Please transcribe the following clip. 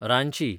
Ranchi